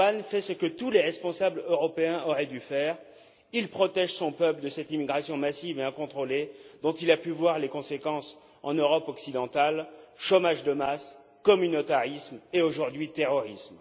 Orbán fait ce que tous les responsables européens auraient dû faire, il protège son peuple de cette immigration massive et incontrôlée dont il a pu voir les conséquences en Europe occidentale chômage de masse, communautarisme et, aujourd'hui, terrorisme.